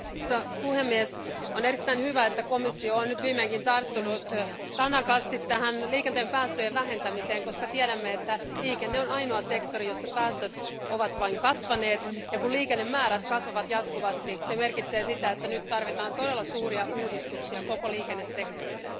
Arvoisa puhemies, on erittäin hyvä, että komissio on nyt viimeinkin tarttunut tanakasti tähän liikenteen päästöjen vähentämiseen, koska tiedämme, että liikenne on ainoa sektori, jossa päästöt ovat vain kasvaneet, ja kun liikennemäärät kasvavat jatkuvasti, se merkitsee sitä, että nyt tarvitaan todella suuria uudistuksia koko liikennesektorille.